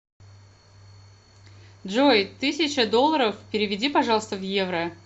джой тысяча долларов переведи пожалуйста в евро